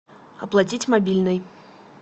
оплатить мобильный